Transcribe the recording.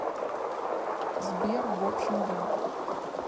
сбер в общем да